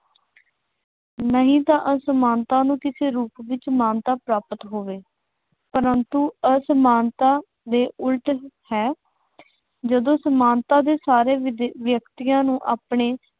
ਨਹੀਂ ਤਾਂ ਅਸਮਾਨਤਾ ਨੂੰ ਕਿਸੇ ਰੂਪ ਵਿੱਚ ਮਾਨਤਾ ਪ੍ਰਾਪਤ ਹੋਵੇ। ਪਰੰਤੂ ਅਸਮਾਨਤਾ ਦੇ ਉਲਟ ਹੈ। ਜਦੋਂ ਸਮਾਨਤਾ ਦੇ ਸਾਰੇ ਵਿਦ ਵਿਅਕਤੀਆਂ ਨੂੰ ਆਪਣੇ